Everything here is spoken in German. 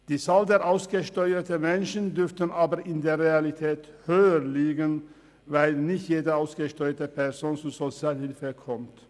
Die Zahl der ausgesteuerten Menschen dürfte aber in der Realität höher liegen, weil nicht jede ausgesteuerte Person zur Sozialhilfe kommt.